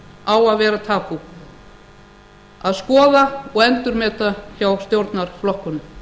á að vera tabú að skoða og endurmeta hjá stjórnarflokkunum